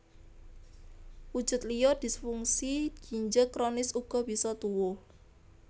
Wujud liya disfungsi ginjel kronis uga bisa tuwuh